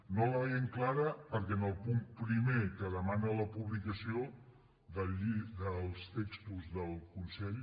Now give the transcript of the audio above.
no la veiem clara perquè en el punt primer que demana la publicació dels textos del consell